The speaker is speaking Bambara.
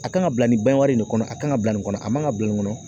A kan ka bila nin ban wari nin de kɔnɔ a kan ka bila nin kɔnɔ a man ka bila nin kɔnɔ